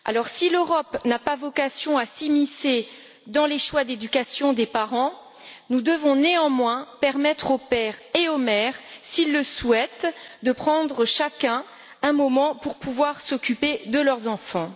Si l'Europe n'a pas vocation à s'immiscer dans les choix d'éducation des parents, nous devons, néanmoins, permettre aux pères et aux mères qui le souhaitent de prendre chacun un moment pour pouvoir s'occuper de leurs enfants.